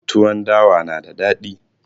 Tuwon dawa na da dadi